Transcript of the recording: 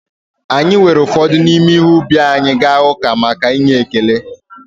Anyị weere ụfọdụ n’ime ihe ubi anyị gaa uka maka maka onyinye ekele